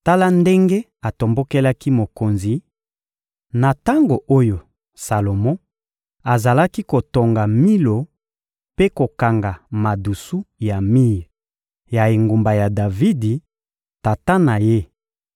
Tala ndenge atombokelaki mokonzi: na tango oyo Salomo azalaki kotonga Milo mpe kokanga madusu ya mir ya engumba ya Davidi, tata na ye,